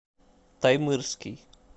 таймырский